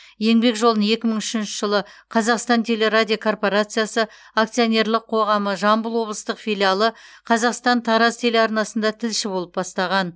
еңбек жолын екі мың үшінші жылы қазақстан телерадиокорпорациясы акционерлік қоғамы жамбыл облыстық филиалы қазақстан тараз телеарнасында тілші болып бастаған